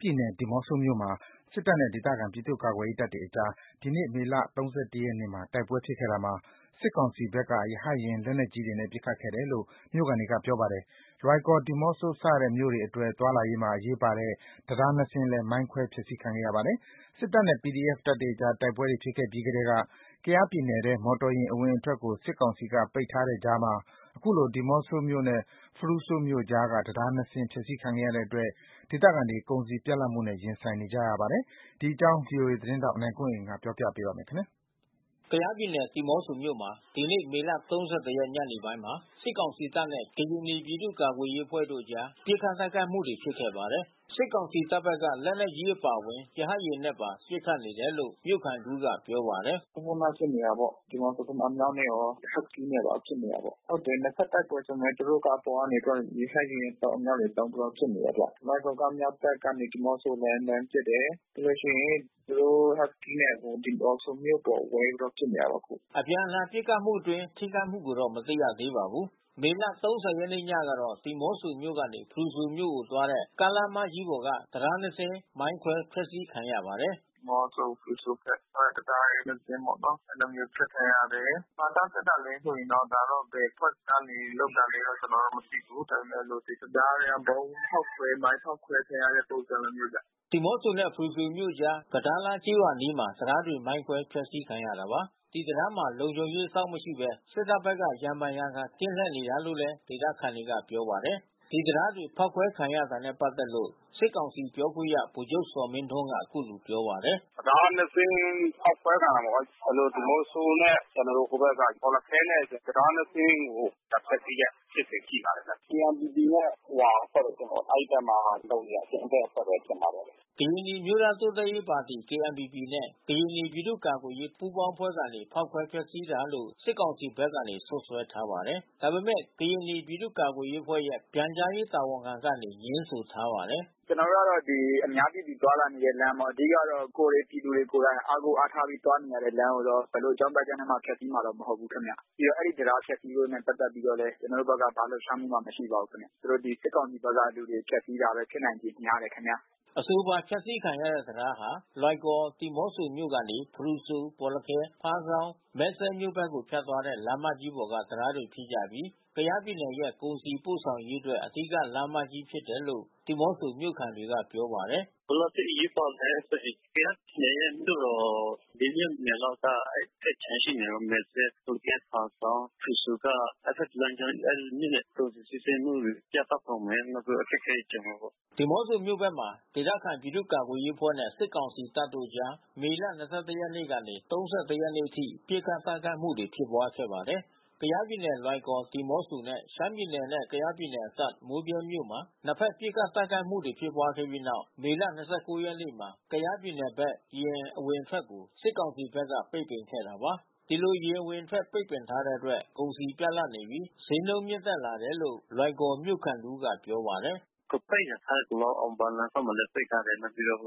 ပြည်နယ် ဒီးမော့ဆိုမြို့မှာ စစ်တပ်နဲ့ ဒေသခံ ပြည်သူ့ကာကွယ်ရေးတပ်တွေကြား ဒီနေ့ မေလ ၃၁ ရက်နေ့မှာ တိုက်ပွဲဖြစ်ခဲ့တာမှာ စစ်ကောင်စီဘက်က ရဟတ်ယာဉ် လက်နက်ကြီးနဲ့ ပစ်ခတ်နေတယ်လို့မြို့ခံတွေကပြောပါတယ်။ လွိုင်ကော်၊ ဒီးမော့ဆို စတဲ့မြို့ တွေအတွက် သွားလာရေးမှာ အရေးပါတဲ့ တံတား ၂ စင်းလည်း မိုင်းခွဲဖျက်စီးခံရပါတယ်။ စစ်တပ်နဲ့ PDF တပ်တွေကြား တိုက်ပွဲတွေဖြစ်ခဲ့ပြီးကတည်းက ကယားပြည်နယ်ထဲ မော်တော်ယာဉ် အဝင်အထွက်ကို စစ်ကောင်စီက ပိတ်ထားတဲ့ကြားမှာ ခုလို ဒီးမော့ဆိုမြို့နဲ့ ဖရူဆိုမြို့ကြားက တံတား ၂ စင်း ဖျက်စီးခံရတဲ့အတွက် ဒေသခံတွေ ကုန်စည်ပြတ်လတ်မှုနဲ့ရင်ဆိုင်နေကြရပါတယ်။ ဒီအကြောင်း ဗွီအိုအေသတင်းထောက် ကိုနိုင်ကွန်းအိန်ကနေပြောပြပေးမှာပါ။ ကယားပြည်နယ် ဒီးမော့ဆိုမြို့မှာ ဒီနေ့ မေလ ၃၁ ရက် ညနေပိုင်းမှာ စစ်ကောင်စီတပ်နဲ့ ကရင်နီပြည်သူ့ကာကွယ်ရေး အဖွဲ့တို့အကြား ပစ်ခတ်တိုက်ခိုက်မှုတွေ ဖြစ်ခဲ့ပါတယ်။ စစ်ကောင်စီတပ်ဘက်က လက်နက်ကြီးအပါဝင် ရဟတ်ယာဉ်နဲ့ပါ ပစ်ခတ်နေတယ်လို့ မြို့ခံတဦးက ပြောပါတယ်။ "ခုဏက ပစ်နေတယ်ပေါ့။ ဒီးမော့ဆိုဘက်မှာ အမြောက်နဲ့ရော၊ ဟက်စကီးနဲ့ပါပစ်နေတာပေါ့။ ဟုတ်တယ် နှစ်ဘက်တပ်ဆိုပေမဲ့ သူတို့က အပေါ်ကနေ ရဟတ်ယာဉ်အမြောက်တွေသုံးပြီးတော့ ပစ်နေတယ်ဗျ။ လွိုင်ကော်က အမြောက်တပ်ကနေ ဒီးမော့ဆိုကို လှမ်းပစ်တယ်။ ပြီးလို့ရှိရင် ဟက်စကီးနဲ့ သူတို့ ဒီးမော့ဆိုမြို့အပေါ်ဝဲပြီးတော့ပစ်နေတယ်ပေါ့အခု။" အပြန်အလှန် ပစ်ခတ်မှုအတွင်း ထိခိုက်မှုကိုတော့ မသိရသေးပါဘူး။ မေလ ၃၀ ရက် ညကတော့ ဒီးမော့ဆိုမြို့ကနေ ဖရူဆိုမြို့သွားတဲ့ ကားလမ်းမကြီးပေါ်က တံတား ၂ စင်း မိုင်းခွဲဖျက်စီးခံရပါတယ်။ "ဒီးမော့ဆို ဖရူဆိုဘက် တံတားကြီးနှစ်စင်းပေါ့နော်။ အဲဒီလိုမျိုး အဖျက်ခံရတယ်။ ဘာကြောင့်ဖျက်တာလဲဆိုရင်တော့... ဒါတော့ ဘယ်အဖွဲ့အစည်းကနေ လုပ်တာလဲတော့ ကျနော်တို့ မသိဘူး။ ဒါပေမဲ့လို့ တံတားက ဗုံးဖောက်ခွဲ မိုင်း ဖောက်ခွဲခံရတဲ့ ပုံစံလိုမျိုးပဲ။" ဒီးမော့ဆိုနဲ့ ဖရူဆိုမြို့အကြား ကဒါးလားကျေးရွာအနီးမှာ တံတားတွေ မိုင်းခွဲဖျက်စီးခံခဲ့ရတာပါ။ ဒီတံတားမှာ လုံခြုံရေး အစောင့်မရှိဘဲ စစ်တပ်ဘက်က ရံဖန်ရံခါ ကင်းလှည့်နေတာလို့လဲ ဒေသခံတွေကပြောပါတယ်။ ဒီတံတားတြေ ဖောက်ခွဲ ခံရတာနဲ့ ပတ်သက်လို့ စစ်ကောင်စီပြောခွင့်ရ ဗိုလ်ချုပ်ဇော်မင်းထွန်းက အခုလိုပြောပါတယ်။ "တံတား ၂ စင်းဖောက်ခွဲခံရတာပေါ့။ ဒီးမော့ဆိုနဲ့ ကျနော်တို့ ဟိုဘက် ဘော်လခဲတံတား ၂ စင်းကို ဒါဖျက်စီးတဲ့ဖြစ်စဉ်ရှိပါတယ်။ KNPP နဲ့ ဟိုဟာအဖွဲ့တွေ အဲဒီဘက်မှာ လုပ်နေတဲ့အကြမ်းဖက်အဖွဲ့ပဲ ထင်ပါတယ်။" ကရင်နီအမျိုးသားတိုးတက်ရေးပါတီ KNPP နဲ့ ကရင်နီပြည်သူ့ကာကွယ်ရေး ပူးပေါင်းအဖွဲ့တွေ ဖောက်ခွဲဖျက်စီးတာလို့ စစ်ကောင်စီဘက်က စွပ်စွဲထားပါတယ်။ ဒါပေမဲ့ ကရင်နီပြည်သူ့ကာကွယ်ရေးအဖွဲ့ရဲ့ ပြန်ကြားရေးတာဝန်ခံကနေ ငြင်းဆိုထားပါတယ်။ "ကျနော်တို့ကတော့ အများပြည်သူသွားလာနေတဲ့လမ်းပေါ့။ အဓိကကတော့ ကိုယ်တွေပြည်သူတွေ ကိုယ်တိုင် အားကိုးအားထားပြီး သွားနေရတဲ့လမ်းကိုတော့ ဘယ်လိုအကြောင်းပြချက်နဲ့မှ ဖျက်စီးမှာတော့ မဟုတ်ဘူးခင်ဗျ။ ပြီးတော့ အဲဒီတံတားဖျက်စီးရေးနဲ့ ပတ်သက်ပြီးတော့လည်း ကျနော်တို့ဘက်က ဘာလှုပ်ရှားမှုမှ မရှိပါဘူးခင်ဗျ။ သူတို့ဒီစစ်ကောင်စီဘက်ကလူတွေ ဖျက်စီးတာပဲ ဖြစ်နိုင်ခြေများတယ်ဗျ။" အဆိုပါ ဖျက်စီးခံရတဲ့တံတားဟာ လွိုင်ကော်မြို့၊ ဒီးမောဆိုမြို့ကနေ ဖရူဆိုမြို့၊ ဘောလခဲမြို့၊ ဖားဆောင်းမြို့၊ မယ်စဲ့မြို့ဘက်ကို ဖြတ်သွားတဲ့ လမ်းမကြီးပေါ်က တံတားတွေဖြစ်ပြီးကယားပြည်နယ်ရဲ့ ကုန်စည်ပို့ဆောင်ရေးအတွက် အဓိကလမ်းကြီးဖြစ်တယ်လို့ ဒီးမော့ဆို မြို့ခံတွေကပြောပါတယ်။ "ဘယ်လောက်အထိ အရေးပါလဲဆိုရင်တော့ ကယားပြည်နယ်ရဲ့ မြို့တော် ၄ မြို့နယ်လောက်က အဲဒီဘက်ခြမ်းရှိနေတယ်။ မယ်စဲ့၊ ဘော်လခဲ၊ ဖားဆောင်း၊ ဖရူဆိုက အဲဒီဘက်လမ်းကြောင်း အဲဒီမြို့နယ်ကုန်စည်စီးဆင်းမှုတွေ ပြတ်တောက်ကုန်မယ်။ နောက်ပြီးတော့အခက်ခဲတွေကြုံလာမယ်ပေါ့။" ဒီးမော့ဆို မြို့ဘက်မှာ ဒေသခံပြည်သူ့ကာကွယ်ရေးအဖွဲ့နဲ့ စစ်ကောင် စီတပ်တို့အကြား မေလ (၂၁) ရက်နေ့ကနေ (၃၁) ရက် နေ့ အထိ ပစ်ခတ်တိုက်ခိုက်မှုတွေ ဖြစ်ပွါးခဲ့ပါတယ်။ ကယားပြည်နယ် လွိုင်ကော် ဒီးမော့ဆိုနဲ့ ရှမ်းပြည်နယ်နဲ့ ကယားပြည်နယ် အစပ် မိုးဗြဲမြို့မှာ နှစ်ဘက် ပစ်ခတ်တိုက်ခိုက်မှုတွေ ဖြစ်ပွါးခဲ့ပြီးနောက် မေလ ၂၉ ရက်နေ့မှာ ကယားပြည်နယ်ဘက် ယာဉ်အဝင်အထွက်ကို စစ်ကောင်စီဘက်က ပိတ်ပင်ခဲ့တာပါ။ ဒီလို ယာဉ်အဝင်အထွက်ပိတ်ပင်ထားတဲ့အတွက် ကုန်စည်ပြတ်လပ်နေပြီး ဈေးနှုန်းမြင့်တက်လာနေတယ်လို့ လွိုင်ကော် မြို့ခံတဦးကပြောပါတယ်။ "အခုပိတ်နေတယ်။ ကလော အောင်ပန်းလမ်းဘက်မှာလည်း ပိတ်ထားတယ်။ နောက်ပြီးတော့